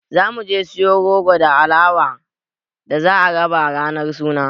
Za mu je siyo goro da alawa da za a raba ranar suna.